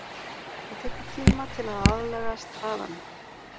Það tekur tíma til að aðlagast hraðanum.